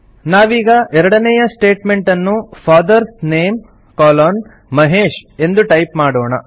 ನಾವೀಗ ಎರಡನೇಯ ಸ್ಟೇಟ್ಮೆಂಟನ್ನು ಫಾದರ್ಸ್ ನೇಮ್ ಕೊಲೊನ್ ಮಹೇಶ್ ಎಂದು ಟೈಪ್ ಮಾಡೋಣ